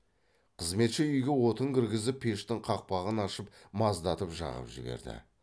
қызметші үйге отын кіргізіп пештің қақпағын ашып маздатып жағып жіберді